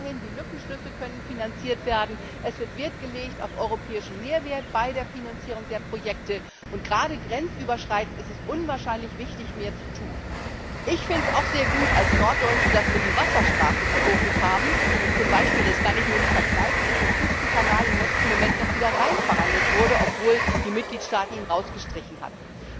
Aber immerhin können die Lückenschlüsse finanziert werden, es wird Wert gelegt auf europäischen Mehrwert bei der Finanzierung der Projekte, und gerade grenzüberschreitend ist es unwahrscheinlich wichtig, mehr zu tun. Ich als Norddeutsche finde es auch sehr gut, dass wir die Wasserstraßen im Fokus haben und zum Beispiel das kann ich mir nicht verkneifen der Küstenkanal im letzten Moment wieder hineinverhandelt wurde, obwohl ihn die Mitgliedstaaten herausgestrichen hatten.